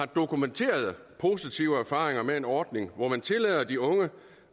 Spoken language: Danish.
dokumenterede positive erfaringer med en ordning hvor man tillader de unge